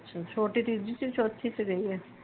ਛੋਟੀ ਤੀਜੀ ਚ ਚੋਥੀ ਚ ਰਹੀ ਏ?